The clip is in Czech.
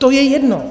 To je jedno.